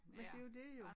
Men det jo det jo